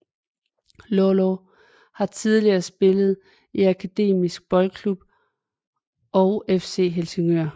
Lålå har tidligere spillet i Akademisk Boldklub og FC Helsingør